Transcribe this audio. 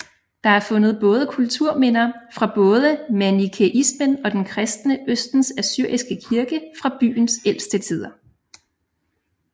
Der er fundet både kulturminder fra både manikæismen og den kristne Østens Assyriske Kirke fra byens ældste tider